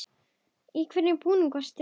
Í hvernig búningi varst þú?